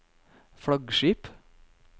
flaggskip